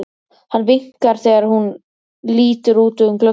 Hann vinkar þegar hún lítur út um gluggann.